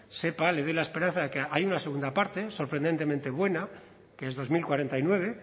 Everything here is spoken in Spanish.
sepa le doy la esperanza de que hay una segunda parte sorprendentemente buena que es dos mil cuarenta y nueve